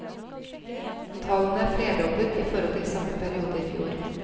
Tallene er flerdoblet i forhold til samme periode i fjor.